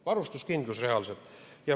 Varustuskindlus reaalselt.